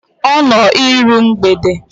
Ọ nọ iru mgbede?